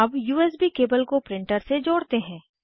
अब USB cable को printer से जोड़ते हैं